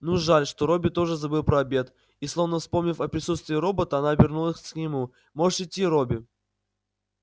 ну жаль что робби тоже забыл про обед и словно вспомнив о присутствии робота она обернулась к нему можешь идти робби